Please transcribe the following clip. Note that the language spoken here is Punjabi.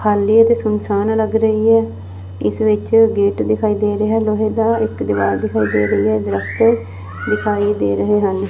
ਖਾਲੀ ਏ ਤੇ ਸੁਨਸਾਨ ਲੱਗ ਰਹੀ ਐ ਇਸ ਵਿੱਚ ਗੇਟ ਦਿਖਾਈ ਦੇ ਰਿਹੈ ਲੋਹੇ ਦਾ ਇੱਕ ਦੀਵਾਰ ਦਿਖਾਈ ਦੇ ਰਹੀ ਐ ਦਰਖਤ ਦਿਖਾਈ ਦੇ ਰਹੇ ਹਨ।